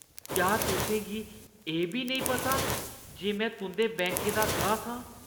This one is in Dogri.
क्या तुसें गी एह् बी नेईं पता जे में तुंʼदे बैंकै दा गाह्क आं?